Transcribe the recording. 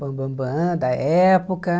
Bambambam, da época.